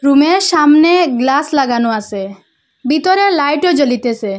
Room -এর সামনে glass লাগানো আসে ভিতরে লাইট -ও জ্বলিতেছে।